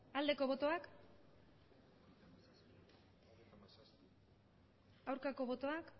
aldeko botoak aurkako botoak